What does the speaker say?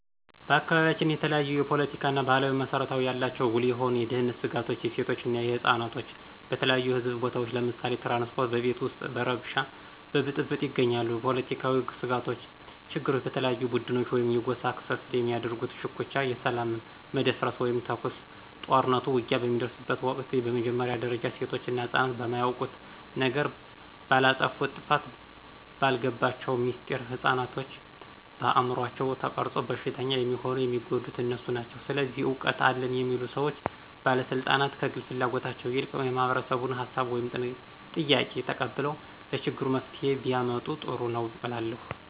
በአካባቢያችን የተለያዩ ፓለቲካዊና ባህላዊ መስረታው ያላቸው ጉልህ የሆኑ የደህንነት ስጋቶች የሴቶች እና የህፃናት በተለያዩ የህዝብ ቦታዎች ለምሳሌ ትራንስፓርት፣ በቤት ውስጥ በረበሽ በብጥብጥ ይገኛሉ። ፖለትካዊ ስጋቶች ችግሮች በተለያዩ ቡድኖች ወይም የጎሳ ክፍፍል በሚያደርጉት ሽኩቻ የሰላም መደፍረስ ወይም ተኩስ፣ ጦርኑት፣ ውጊያ በሚደርጉበት ወቅት በመጀመርያ ጊዜ ሴቶች እና ህፅናት በማያውቁት ነገር፣ ባላጠፉት ጥፋት፣ ባልገባቸው ሚስጥር፣ ህፅናቶችን በአምሯቸው ተቀርፆ በሽተኛ የሚሆኑት የሚጎዱት እነሱ ናቸው። ስለዚህ እውቀት አለን የሚሉ ሰዎች ባለስልጣናት ከግል ፍላጎታቸው ይልቅ የማህበረሰቡን ሀሳብ ወይም ጥያቄ ተቀብለው ለችግሩ መፍትሄ ቢያመጡ ጥሩ ነው እላለሁ።